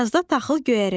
Yazda taxıl göyərəcək.